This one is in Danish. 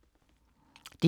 DR K